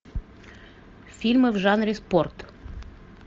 фильмы в жанре спорт